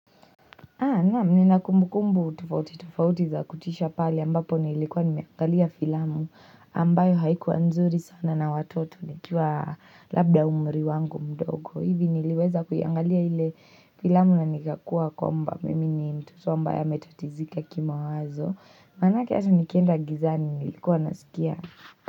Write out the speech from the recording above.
Naam nina kumbu kumbu tofauti tofauti za kutisha pale ambapo nilikuwa nimeangalia filamu ambayo haikuwa nzuri sana na watoto ni kiwa labda umri wangu mdogo. Hivi niliweza kuyangalia ile filamu na nikakuwa kwamba mimi ni mtoto ambaye ametatizika kimawazo. Manake asa nikienda gizani nilikuwa nasikia.